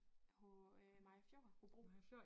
På øh Mariager Fjord Hobro